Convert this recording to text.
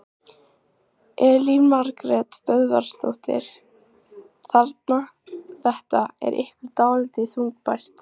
Elín Margrét Böðvarsdóttir: Þannig þetta er ykkur dálítið þungbært?